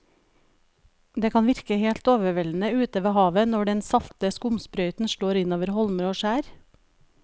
Det kan virke helt overveldende ute ved havet når den salte skumsprøyten slår innover holmer og skjær.